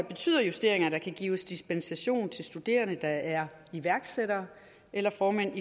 betyder justeringen at der kan gives dispensation til studerende der er iværksættere eller formænd